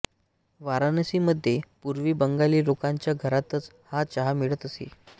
वाराणसी मध्ये पूर्वी बंगाली लोकांच्या घरातच हा चहा मिळत असे